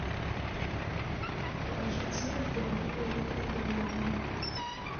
покажи те кто любили рихарда вагнера